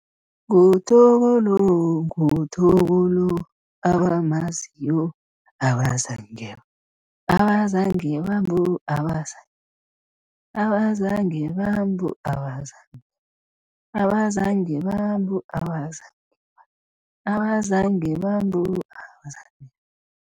NguThoko lo nguThoko lo abamaziyo abazange bambona abazange bambona, abazange bambona, abazange bambona, abazange bambona, abazange bambona, abazange bambona, abazange bambona